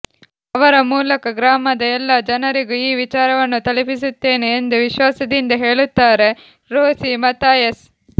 ಅವರ ಮೂಲಕ ಗ್ರಾಮದ ಎಲ್ಲ ಜನರಿಗೂ ಈ ವಿಚಾರವನ್ನು ತಲುಪಿಸುತ್ತೇನೆ ಎಂದು ವಿಶ್ವಾಸದಿಂದ ಹೇಳುತ್ತಾರೆ ರೋಸಿ ಮಥಾಯಸ್